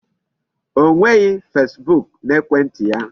O nweghị Facebook n'ekwentị ya.